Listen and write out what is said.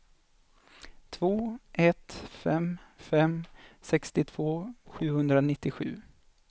två ett fem fem sextiotvå sjuhundranittiosju